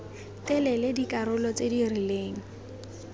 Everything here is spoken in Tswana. telele dikarolo tse di rileng